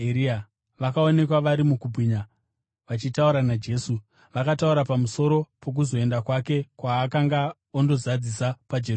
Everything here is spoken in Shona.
vakaonekwa vari mukubwinya, vachitaura naJesu. Vakataura pamusoro pokuzoenda kwake, kwaakanga ondozadzisa paJerusarema.